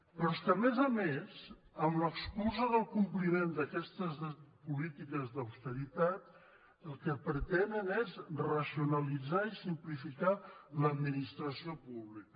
però és que a més a més amb l’excusa del compliment d’aquestes polítiques d’austeritat el que pretenen és racionalitzar i simplificar l’administració pública